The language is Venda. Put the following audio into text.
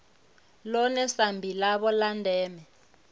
ḽone sambi ḽavho ḽa ndeme